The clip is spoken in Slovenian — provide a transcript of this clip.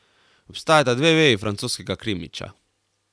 Obstajata dve veji francoskega krimiča.